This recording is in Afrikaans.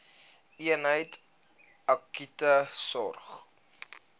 eenheid akute sorg